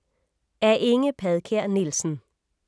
Af Inge Padkær Nielsen